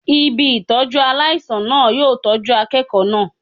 Ibi Ìtọ́jú aláìsàn náà yóò tọ́jú akẹ́kọ̀ọ́ náà.